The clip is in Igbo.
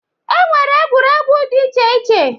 E nwere egwuregwu dị iche iche.